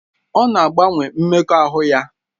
Ọ na-agbanwe mmekọahụ ya